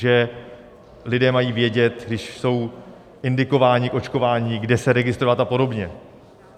Že lidé mají vědět, když jsou indikováni k očkování, kde se registrovat a podobně.